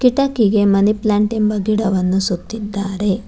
ಕಿಟಕಿಗೆ money plant ಎಂಬ ಗಿಡವನ್ನು ಸುತ್ತಿದ್ದಾರೆ.